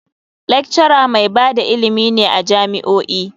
Lecturer mai ba da ilimi ne a jami'o'i.